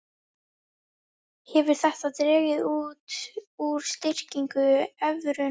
Hefur þetta dregið úr styrkingu evrunnar